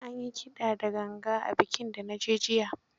An yi kida da ganga a bikin da na je jiya.